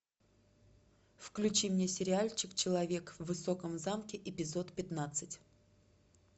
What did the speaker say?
включи мне сериальчик человек в высоком замке эпизод пятнадцать